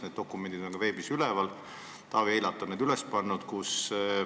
Need dokumendid on ka veebis üleval, Taavi Eilat on need üles pannud.